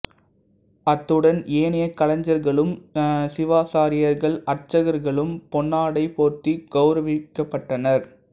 அத்துடன் ஏனைய கலைஞர்களும் சிவாச்சாரியார்கள் அர்ச்சகர்களும் பொன்னாடை போர்த்திக் கௌரவிக்கப்பட்டனர்